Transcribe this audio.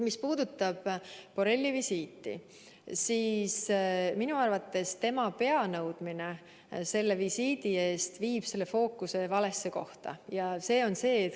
Mis puudutab Borrelli visiiti, siis minu arvates tema pea nõudmine selle visiidi eest viib fookuse valesse kohta.